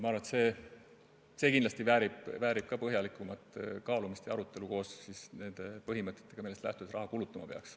Ma arvan, et ka see väärib kindlasti põhjalikumat kaalumist ja arutelu koos nende põhimõtetega, millest lähtuvalt raha kulutama peaks.